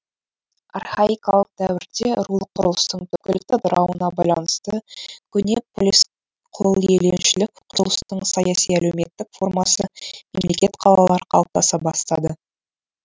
архаикалық дәуірде рулық құрылыстың түкпілікті ыдырауына байланысты көне полис құлиеленушілік құрылыстың саяси әлеуметтік формасы мемлекет қалалар қалыптаса бастады